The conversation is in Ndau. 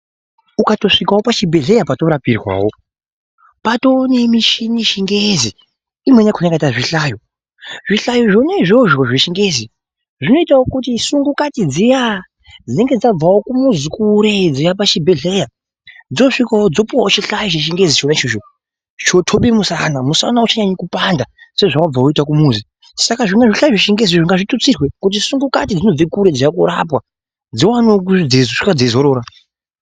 Ukatosvikawo pachibhedhlera patorapirwawo, patonemishini yechingezi, imweni yakho yakaite kunge zvihlayo. Zvihlayo zvona izvozvo zvechingezi zvinoitawo kuti sungukati dziya dzinonge dzabvawo kumuzi kure dzeiuya pachibhedhlera dzosvikawo dzopiwawo chihlayo chechingezi chona ichocho chinoxobe musana, musana auchanyanyikupanda sezvewabve uchiita kumuzi. Saka zvihlayo zvechingezi ngazviwande kuti sungukati dzinobve kure dzeiuya korapwe dziwanewo kuti dzeisvika dzeizorora.